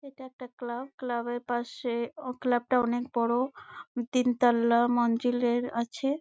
এইটা একটা club club এর পাশে ক্লাব টা অনকে বোরো তিন তলা মঞ্জিলের আছে ।